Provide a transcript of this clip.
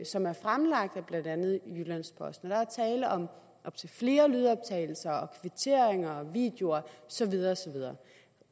som er fremlagt af blandt andet jyllands posten der er tale om op til flere lydoptagelser og kvitteringer og videoer og så videre og så videre